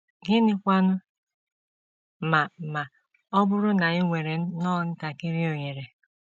Gịnịkwanụ ma ma ọ bụrụ na i nwere nnọọ ntakịrị ohere?